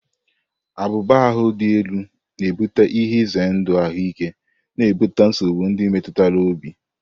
Abuba ahu dị elu na-ebute ihe ize ndụ ahụike, na-ebute nsogbu ndị metụtara obi.